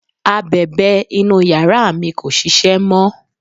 abẹ̀bẹ̀ inú yàrá mi kò ṣiṣẹ́ mọ